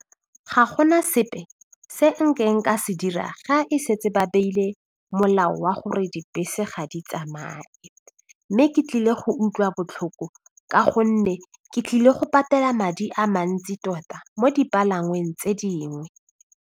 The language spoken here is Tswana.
Ga go na sepe se ka se dira ga e setse ba beile molao wa gore dibese ga di tsamae mme ke tlile go utlwa botlhoko ka gonne ke tlile go patela madi a mantsi tota mo dipalangweng tse dingwe.